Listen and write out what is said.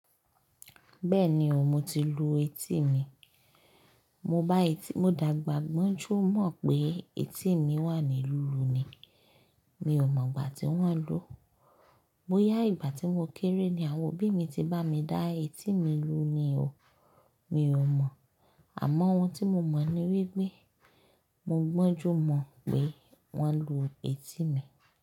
Bẹ́ẹ̀ni o, mo ti lu etí mi. Mo bá etí, mo dàgbà gbọ́n ju mọ̀ pé etí mi wà ní lílu ni. Mi ò mọ̀ gbà tí wọ́n lu. Bóyá ìgbà tí mo kéré ni àwọn òbí mi ti bá mi dá etí mi lu ni o, mi ò mọ̀. Àmọ́ ohun tí mo mọ̀ ni wípé mo gbọ́njú mọ̀ pé wọ́n lu etí mi.